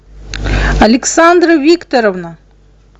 александра викторовна